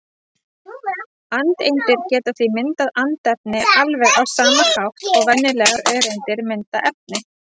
Andeindir geta því myndað andefni alveg á sama hátt og venjulegar öreindir mynda efni.